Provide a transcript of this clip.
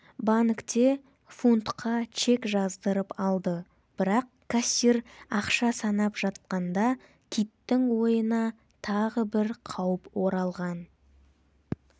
банкте фунтқа чек жаздырып алды бірақ кассир ақша санап жатқанда киттің ойына тағы бір қауіп оралған